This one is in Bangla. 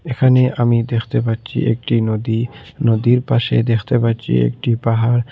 এখানে আমি দেখতে পাচ্ছি একটি নদী নদীর পাশে দেখতে পাচ্ছি একটি পাহাড়।